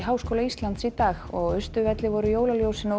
Háskóla Íslands í dag og á Austurvelli voru jólaljósin á